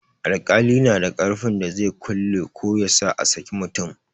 Alƙali na da ƙarfin da zai kulle ko yasa a saki mutum.